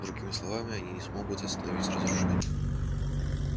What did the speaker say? другими словами они не смогут остановить разрушение